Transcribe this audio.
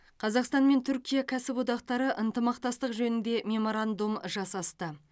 қазақстан мен түркия кәсіподақтары ынтымақтастық жөнінде меморандум жасасты